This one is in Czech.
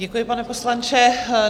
Děkuji, pane poslanče.